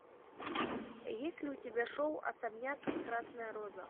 есть ли у тебя шоу особняк красная роза